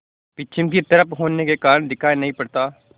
पश्चिम की तरफ होने के कारण दिखाई नहीं पड़ता